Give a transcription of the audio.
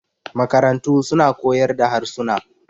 makarantu suna kaoyar da harsuna